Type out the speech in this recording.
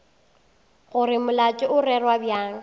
gore molato o rerwa bjang